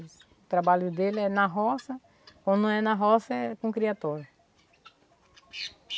O trabalho dele é na roça, quando não é na roça, é com criatório.